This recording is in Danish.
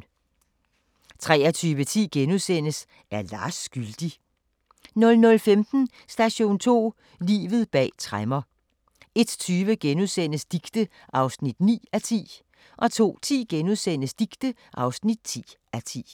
23:10: Er Lars skyldig? * 00:15: Station 2: Livet bag tremmer 01:20: Dicte (9:10)* 02:10: Dicte (10:10)*